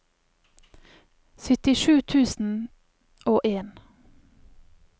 syttisju tusen og en